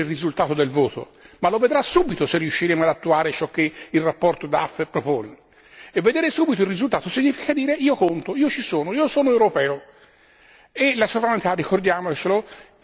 Cioè non avrà bisogno di aspettare mesi per vedere il risultato del voto, ma lo vedrà subito se riusciremo ad attuare ciò che la relazione Duff propone e vedere subito il risultato significa dire io conto, io ci sono, io sono europeo.